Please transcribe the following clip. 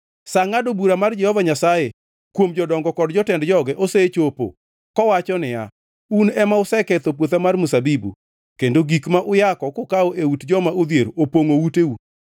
Sa ngʼado bura mar Jehova Nyasaye kuom jodongo kod jotend joge osechopo, kowacho niya, “Un ema useketho puotha mar mzabibu kendo gik ma uyako kukawo e ut joma odhier opongʼo uteu.